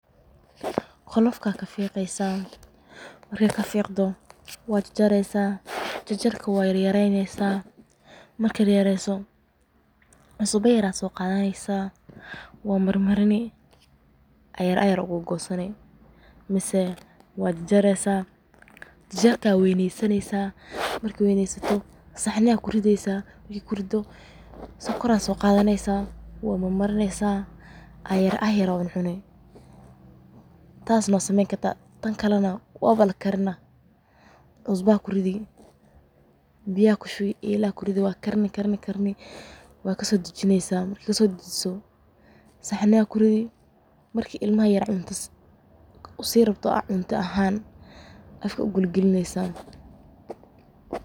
Qolofta kafiqeysa marka kafiqda wad jajari jajar yar kadib waxa marini milix oo wad kugosani saxni soqadanani sokor kudari iyado wawen aya cuneysa xasilko. Ama wakarini cusbo kudari markey karto saxni kuridi marka cunug yar cunta aa sini camal afka ugalini.